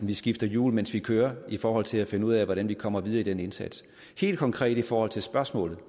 vi skifter hjul mens vi kører i forhold til at finde ud af hvordan vi kommer videre med den indsats helt konkret i forhold til spørgsmålet